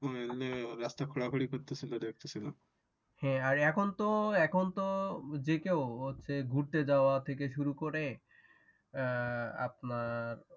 রাস্তা খোরাখুরি করতেছিল দেখতেছিলাম হ্যাঁ এখনতো এখনতো যেকেউ হচ্ছে ঘুরতে যাওয়া থেকে শুরু করে আপনার ওই